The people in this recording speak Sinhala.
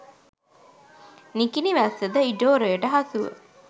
නිකිණි වැස්ස ද ඉඩෝරයට හසුව